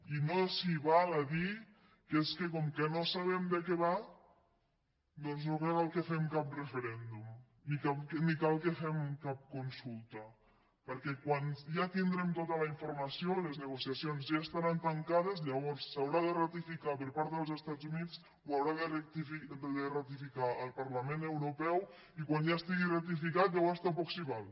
i no s’hi val a dir que és que com que no sabem de què va doncs no cal que fem cap referèndum ni cal que fem cap consulta perquè quan ja tindrem tota la informació les negociacions ja estaran tancades llavors s’haurà de ratificar per part dels estats units ho haurà de ratificar el parlament europeu i quan ja estigui ratificat llavors tampoc s’hi val